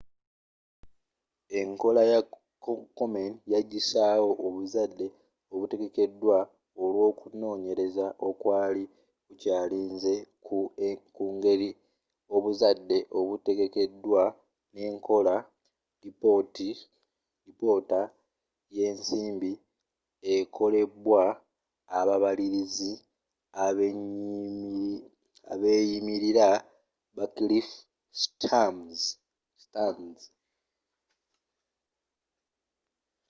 enkola ya komen yagisaawo obuzadde obutegekedwa olwokunonyereza okwali kukyalinze ku ngeri obuzadde obutegekedwa nekola lipoota yensimbi ekolebwa ababaliliz abeyimirira ba cliff stearns